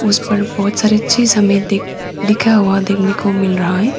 इस पर बहुत सारा चीज हमें देख लिखा हुआ देखने को मिल रहा है।